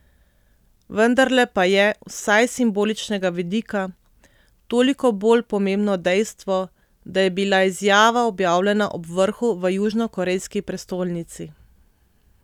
Vendarle pa je, vsaj s simboličnega vidika, toliko bolj pomembno dejstvo, da je bila izjava objavljena ob vrhu v južnokorejski prestolnici.